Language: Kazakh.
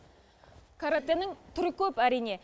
каратэнің түрі көп әрине